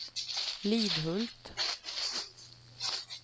Lidhult